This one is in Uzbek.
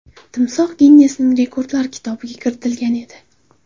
Timsoh Ginnesning rekordlar kitobiga kiritilgan edi.